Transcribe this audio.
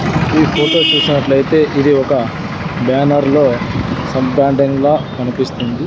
ఈ ఫోటో చూసినట్లైతే ఇది ఒక బ్యానర్ లో లా కనిపిస్తుంది.